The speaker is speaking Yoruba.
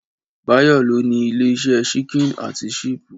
Báyọ̀ ló ní ilé-ìsẹ́ síkìn àti ṣípù.